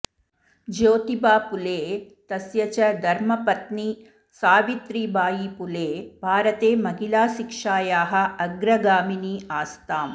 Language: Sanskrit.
ज्योतिबाफुले तस्य च धर्मपत्नी सावित्रीबायीफुले भारते महिलाशिक्षायाः अग्रगामिनी आस्ताम्